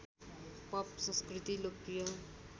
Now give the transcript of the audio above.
pop संस्कृति लोकप्रिय